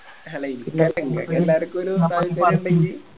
ഇങ്ങക്കെല്ലാർക്കും ഒര് താൽപ്പര്യം ഇണ്ടെങ്കി